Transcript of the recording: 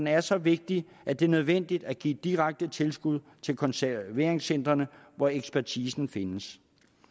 er så vigtige at det er nødvendigt at give direkte tilskud til konserveringscentrene hvor ekspertisen findes